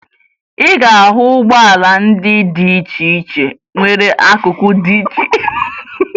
Ị ga-ahụ ụgbọala dị iche iche nwere akụkụ dị iche iche na Naịjirịa